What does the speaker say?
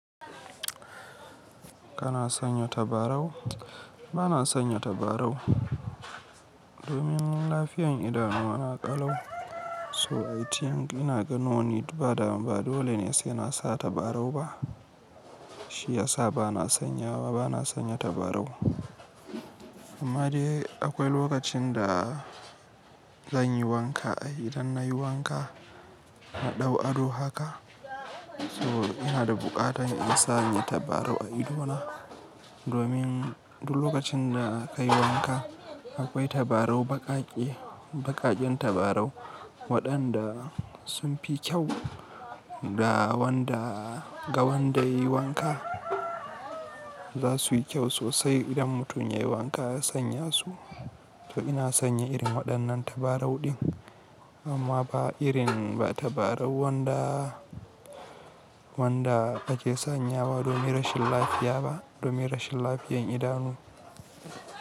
Kana sanya tabarau? Bana sanya tabarau domin lafiyan idanu na kalau. So I think ina ga no need bada ba dole ne sai na sa tabarau ba. Shi yasa bana sanyawa, bana sanya tabarau. Amma dai akwai lokacin da zan yi wanka. Idan na yi wanka na ɗau ado haka. So ina da buƙatan in sanya tabarau a idona domin duk lokacin da ka yi wanka akwai tabarau baƙaƙe, baƙaƙen tabarau waɗanda sun fi kyau da wanda ga wanda yayi wanka za su yi kyau sosai idan mutum ya yi wanka ya sanya su. To ina sanya irin waɗannan tabarau ɗin, amma ba irin ba tabarau wanda, wanda ake sanyawa domin rashin lafiya ba, domin rashin lafiyan idanu.